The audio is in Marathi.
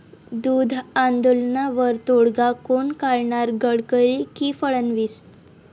दूध आंदोलनावर तोडगा कोण काढणार?, गडकरी की फडणवीस?